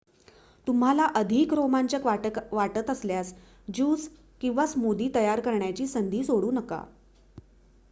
तुम्हाला अधिक रोमांचक वाटत असल्यास ज्यूस किंवा स्मूदी तयार करण्याची संधी सोडू नका